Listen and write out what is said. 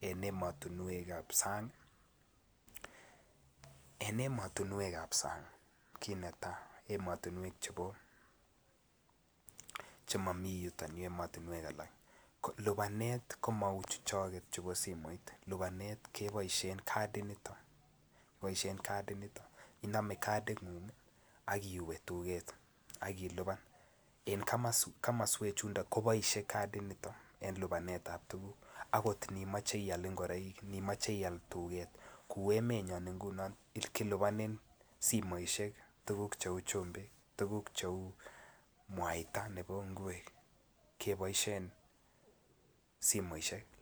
En emotunwek ab sang kiit netai lupanet komou chuchok chubo simoit, kiboisien kadit nitok, inome kading'ung iwe tuget akilipan ot imoche ial ngoroik. En emonyon keliponen simoit tuguk cheu chumbik, mwaita